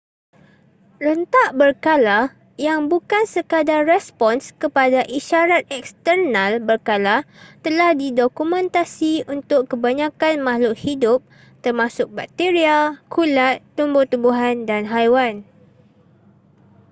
rentak berkala yang bukan sekadar respons kepada isyarat eksternal berkala telah didokumentasi untuk kebanyakan makhluk hidup termasuk bakteria kulat tumbuh-tumbuhan dan haiwan